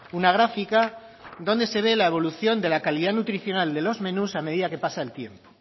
una gráfica donde se ve la evolución de la calidad nutricional de los menús a medida que pasa el tiempo